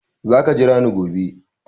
Za ka jira ni gobe!